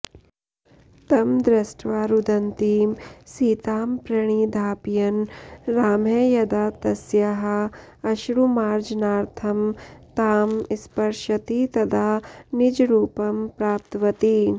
तं दृष्ट्वा रुदन्तीं सीतां प्रणिधापयन् रामः यदा तस्याः अश्रुमार्जनार्थं तां स्पृशति तदा निजरूपं प्राप्तवती